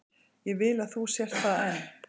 Ég vil að þú sért það enn.